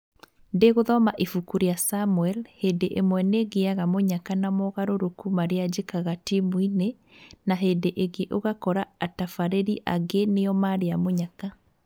Ndigũthoma ibuku ria Samuel " Hĩndĩ ĩmwe nĩngĩaga mũnyaka na mogarũrũku maria njĩkaga timũ-inĩ ,na hĩndĩ ĩngĩ ũgakora atabarĩri angĩ nĩo marĩa mũnyaka